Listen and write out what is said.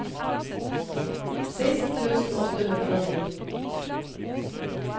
seksten tusen åtte hundre og ni